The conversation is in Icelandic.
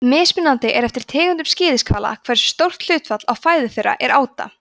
mismunandi er eftir tegundum skíðishvala hversu stórt hlutfall af fæðu þeirra er áta